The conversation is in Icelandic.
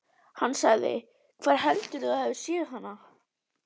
Hann sagði: Hvar heldurðu að þú hafir séð hana?